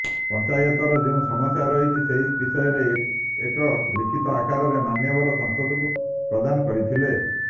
ପଂଚାୟତର ଯେଉଁ ସମସ୍ୟା ରହିଛି ସେହି ବିଷୟରେ ଏକ ଲିଖିତ ଆକାରରେ ମାନ୍ୟବର ସାଂସଦଙ୍କୁ ପ୍ରଦାନ କରିଥିଲେ